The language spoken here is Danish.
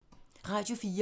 Radio 4